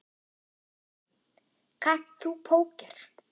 Guðný: Kannt þú póker?